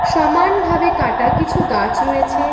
সমানভাবে কাটা কিছু গাছ রয়েছে।